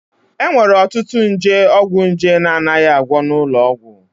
E nwere ọtụtụ nje ọgwụnje na-anaghị agwọ n'ụlọ ọgwụ